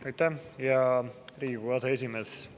Aitäh, hea Riigikogu aseesimees!